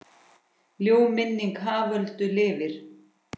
Ljúf minning Haföldu lifir.